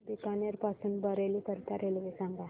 बीकानेर पासून बरेली करीता रेल्वे सांगा